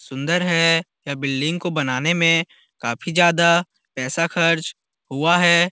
सुंदर है यह बिल्डिंग को बनाने मे काफी ज्यादा पैसा खर्च हुआ है।